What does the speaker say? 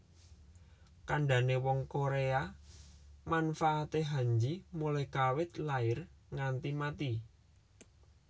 Kandane wong Korea manfaatke Hanji mulai kawit lair nganti mati